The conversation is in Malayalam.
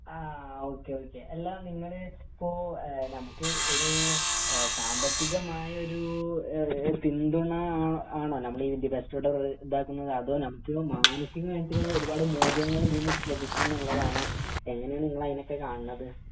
ആഹ് ഒക്കെ ഒക്കെ അല്ല നിങ്ങൾ ഇപ്പൊ ഈഹ് നമുക്ക് ഒരു സാമ്പത്തികമായ ഒരു പിന്തുണ ആണ് നമ്മുടെ ഈ അത് നമുക്ക് മാനസികമായിട്ട് ഒരുപാട് മൂല്യങ്ങൾ ഇതിന്ന് ലഭിക്കും എന്നുള്ളതാണ് എങ്ങിനേണ് ഇങ്ങള് അയിനൊക്കെ കാണുന്നത്